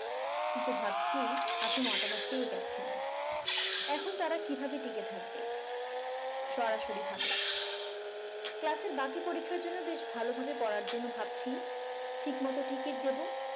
কিন্তু ভাবছি আপনি মতামত পেয়ে গেছেন। এখন তারা কিভাবে টিকে থাকবে। সরাসরি ভাবে ক্লাসের বাকি পরীক্ষার জন্য বেশ ভালোভাবে পড়ার জন্য ভাবছি। ঠিকমতো ticket দেব।